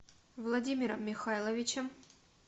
владимиром михайловичем